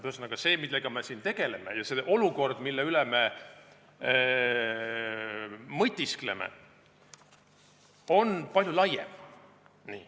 Ühesõnaga, see, millega me siin tegeleme, ja olukord, mille üle me mõtiskleme, on palju laiem.